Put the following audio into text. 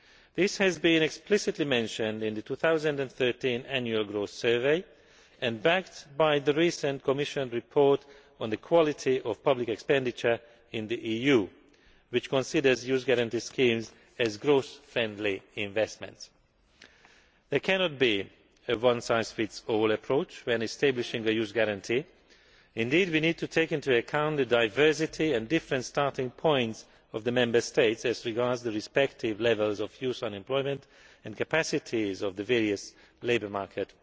This has been explicitly mentioned in the 2013 Annual Growth Survey and backed by the recent Commission report on The quality of public expenditure in the EU', which considers youth guarantee schemes to be growth friendly investments. There cannot be a one size fits all approach when establishing a youth guarantee. Indeed, we need to take into account the diversity and different starting points of the Member States as regards the respective levels of youth unemployment and capacities of the various labour market